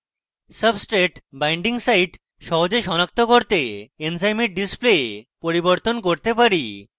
substrate binding site সহজে সনাক্ত করতে এনজাইমের display পরিবর্তন করতে পারি